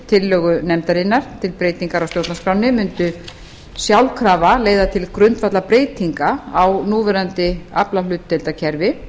tillögu nefndarinnar til breytingar á stjórnarskránni mundi sjálfkrafa leiða til grundvallarbreytinga á núverandi aflahlutdeildarkerfi